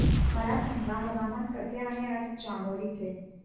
मला सांगा हवामान कसे आहे आज चामोली चे